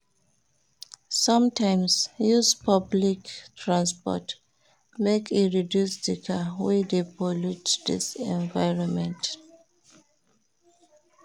Sometimes use public transport, make e reduce di car wey dey pollute dis environment.